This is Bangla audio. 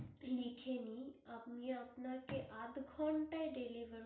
লিখে নিন, আমি আপনাকে আদ ঘণ্টায় delivery